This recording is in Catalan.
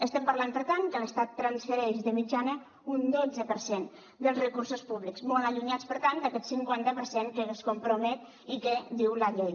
estem parlant per tant que l’estat transfereix de mitjana un dotze per cent dels recursos públics molt allunyats per tant d’aquest cinquanta per cent que es compromet i que diu la llei